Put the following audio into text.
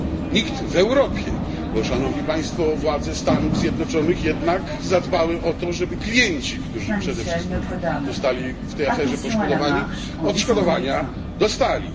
Nikt w Europie, bo władze Stanów Zjednoczonych jednak zadbały o to, żeby klienci, którzy przede wszystkim zostali w tej aferze poszkodowani, odszkodowania dostali.